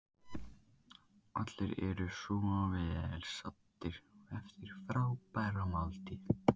Allir eru vel saddir eftir frábæra máltíð.